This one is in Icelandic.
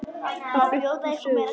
Þá fluttir þú suður.